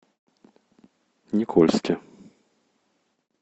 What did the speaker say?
никольске